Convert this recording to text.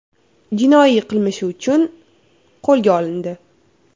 jinoiy qilmishi uchun qo‘lga olindi.